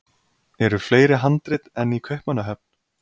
Eru fleiri handrit enn í Kaupmannahöfn?